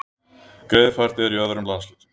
Greiðfært er í öðrum landshlutum